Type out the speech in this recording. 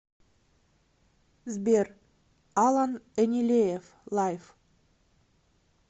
сбер алан энилеев лайф